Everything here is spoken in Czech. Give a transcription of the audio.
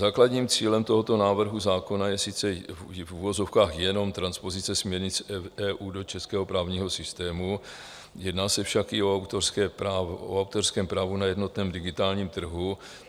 Základním cílem tohoto návrhu zákona je sice - v uvozovkách - jenom transpozice směrnic EU do českého právního systému, jedná se však i o autorském právu na jednotném digitálním trhu.